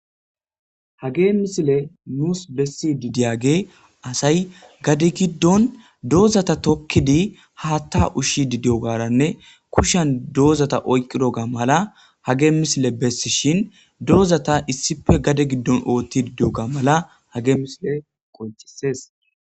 Hagey misiley nus besidi diyagey asay gade hidon dozata tokidi Hatha ushidi diyogaranne kushan dozata oykidoga mala hagey have misiley besidhi dozata issipe gade gidon othidi diyoga mala have missile qoncises